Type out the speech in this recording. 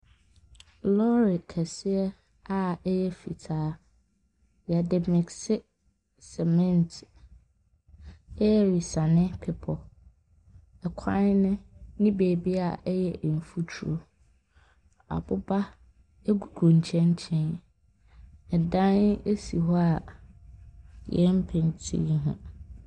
Lorry kɛseɛ a ɛyɛ fitaa, yɛde missi cement resane bepɔ. ℇkwan no ne babi a ɛyɛ mfuturo. Aboba gugu nkyɛnkyɛn, ɛdan si hɔ a yɛmpentii ho.